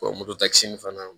motokkisi in fana